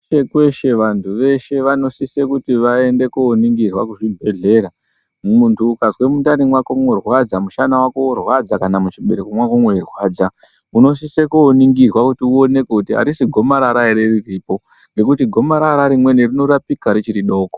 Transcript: Kweshe kweshe vantu veshe vanosise kuti vaende kooningirwa kuzvibhedhlera. Muntu ukazwe mundani mwako moorwadza, mushana wako woorwadza kana muchibereko mwako mweirwadza, unosise kuoningirwa kuti uonekwe kutu harisi gomarara ere riripo. Ngekuti gomarara rimweni rinorapika richiri doko.